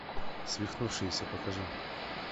свихнувшиеся покажи